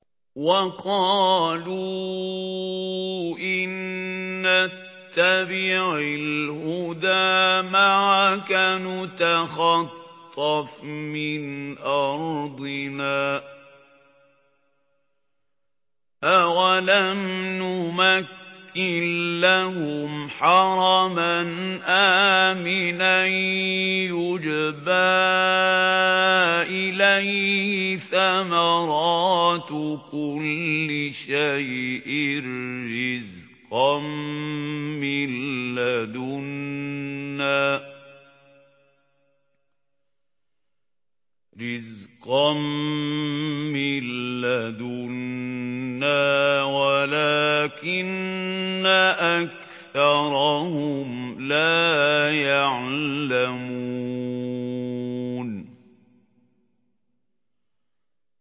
وَقَالُوا إِن نَّتَّبِعِ الْهُدَىٰ مَعَكَ نُتَخَطَّفْ مِنْ أَرْضِنَا ۚ أَوَلَمْ نُمَكِّن لَّهُمْ حَرَمًا آمِنًا يُجْبَىٰ إِلَيْهِ ثَمَرَاتُ كُلِّ شَيْءٍ رِّزْقًا مِّن لَّدُنَّا وَلَٰكِنَّ أَكْثَرَهُمْ لَا يَعْلَمُونَ